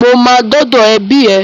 Mo máa dọ́dọ̀ ẹbí ẹ.